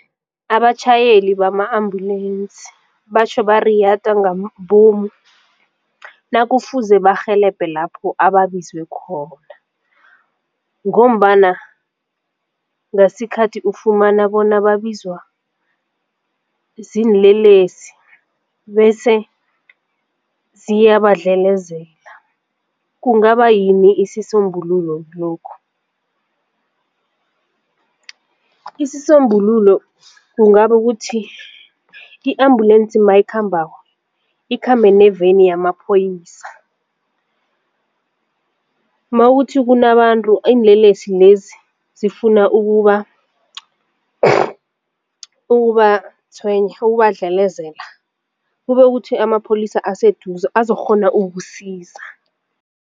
Abatjhayeli bama-ambulensi batjho bariyada ngamabomu nakufuze barhelebhe lapho ababizwe khona, ngombana ngasikhathi ufumana bona babizwa ziinlelesi bese ziyabadlelezela. Kungaba yini isisombululo kilokhu? Isisombululo kungaba ukuthi i-ambulensi nayikhambako ikhambe neveni yamaphoyisa. Makuthi kunabantu iinlelesi lezi zifuna ukubatshwenya ukubadlelezela kube kuthi amapholisa aseduze azokukghona ukusiza.